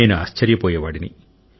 నేను ఆశర్యపోయేవాడిని